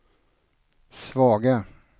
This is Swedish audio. svaga